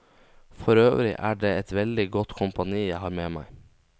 Forøvrig er det et veldig godt kompani jeg har med meg.